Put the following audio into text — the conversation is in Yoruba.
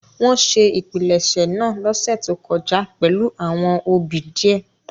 Wọn ṣe ìpilẹ̀ṣẹ̀ naa losẹ to kọja pẹlu awọn obì diẹ.